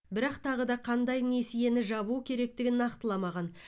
бірақ тағы да қандай несиені жабу керектігін нақтыламаған